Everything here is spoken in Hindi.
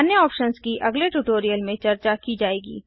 अन्य ऑप्शन्स की अगले ट्यूटोरियल्स में चर्चा की जाएगी